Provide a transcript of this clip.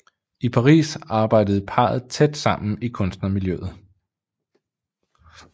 I Paris arbejdede parret tæt sammen i kunstnermiljøet